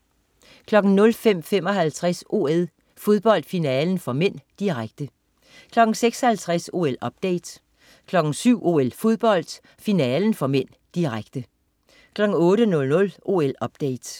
05.55 OL: Fodbold, finalen (m), direkte 06.50 OL-update 07.00 OL: Fodbold, finalen (m), direkte 08.00 OL-update